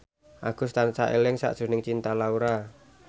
Agus tansah eling sakjroning Cinta Laura